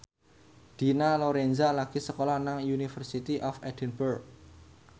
Dina Lorenza lagi sekolah nang University of Edinburgh